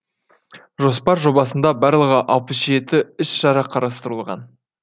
жоспар жобасында барлығы алпыс жеті іс шара қарастырылған